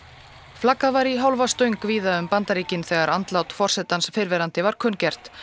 flaggað var í hálfa stöng víða um Bandaríkin þegar andlát forsetans fyrrverandi var kunngert